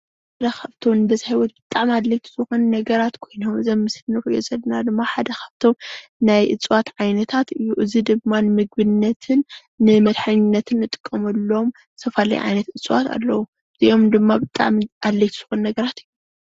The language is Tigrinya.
እዚ ካብቶም ብበዝሒ ብጣዕሚ ኣድለይቲ ዝኾኑ ነገራት ኮይኖም እዚ ኣብ ምስሊ ንሪኦ ዘለና ድማ ሓደ ካብቶም ብጣዕሚ ኣድለይቲ ዝኾኑ ናይ እፅዋት ዓይነታት እዚ ድማ ንምግብነትን ንመድሓኒትነትን እንጥቀመሎም ዝተፈላለዩ ዓይነት እፀዋት አለው፡፡ እዚኦም ድማ ብጣዕሚ ኣድለይቲ ዝኾኑ ነገራት እዮም።